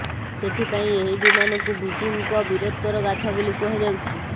ସେଥିପାଇଁ ଏହି ବିମାନକୁ ବିଜୁଙ୍କ ବୀରତ୍ୱର ଗାଥା ବୋଲି କୁହାଯାଉଛି